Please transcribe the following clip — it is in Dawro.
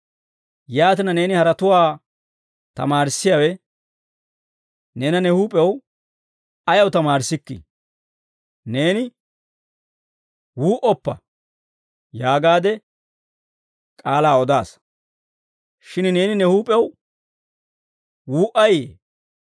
Yaatina, neeni haratuwaa tamaarissiyaawe neena ne huup'ew ayaw tamaarissikkii? Neeni, «Wuu"oppa» yaagaade k'aalaa odaasa. Shin neeni ne huup'ew wuu"ayiyye?